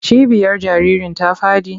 Cibiyar jaririn ta faɗi?